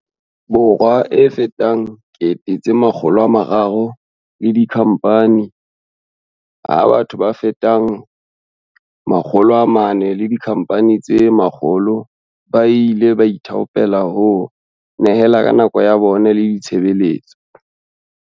Borwa a fetang 300 000 le dikhampani, ha batho ba fetang 400 le dikhampani tse 100 ba ile ba ithaopela ho nyehela ka nako ya bona le ditshebeletso.